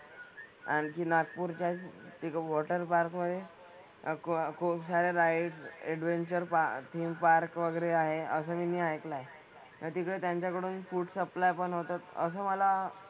आणखी नागपूरच्याच एक वॉटर पार्क मधे अह खूप खुपसाऱ्या rides, adventure park, theme park वगैरे आहे असं मीनी ऐकलंय. तर तिकडे त्यांच्याकडून फूड सप्लाय पण होतं. असं मला,